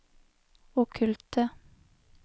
okkulte